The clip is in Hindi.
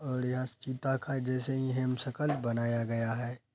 और यह चीता का ही जैसे ही हमसकल बनाया गया है।